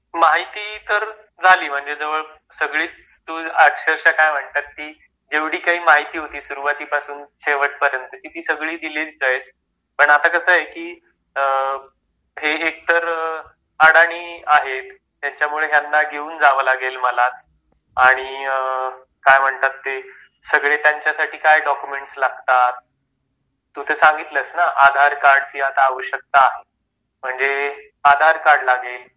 माहिती तर आलीच म्हणजे जवळ सगळेच तु अक्षरशा काय म्हणतात ते जेवढे काही माहिती होती सुरुवातीपासून शेवटपर्यंत ती सगळी दिली जाईल पण आता कस आहे ते थोड़े अडाणी आहे त्याच्यामुळे त्यांना घेऊन जावं लागेल मला आणि काय म्हणतात ते सगळे त्यांच्यासाठी काय डॉक्युमेंट्स ते तर सांगितलं ना आधार कार्डची आवश्यकता म्हणजे आधार कार्ड लागेल